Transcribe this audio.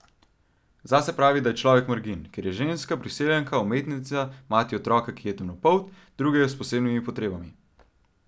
Zase pravi, da je človek margin, ker je ženska, priseljenka, umetnica, mati otroka, ki je temnopolt, drugega s posebnimi potrebami.